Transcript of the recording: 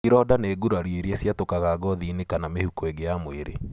Ironda nĩ gurario iria ciatũkaga gothiinĩ kana mihũko ĩngĩ ya mwĩrĩ.